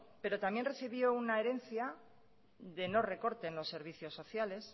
pero también recibió una herencia de no recorte en los servicios sociales